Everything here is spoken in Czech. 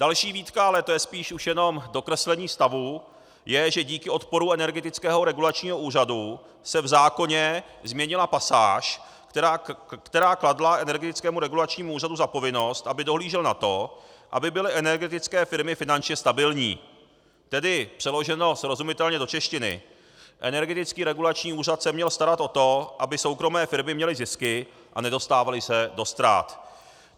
Další výtka, ale to je spíše už jenom dokreslení stavu, je, že díky odporu Energetického regulačního úřadu se v zákoně změnila pasáž, která kladla Energetickému regulačnímu úřadu za povinnost, aby dohlížel na to, aby byly energetické firmy finančně stabilní, tedy přeloženo srozumitelně do češtiny, Energetický regulační úřad se měl starat o to, aby soukromé firmy měly zisky a nedostávaly se do ztrát.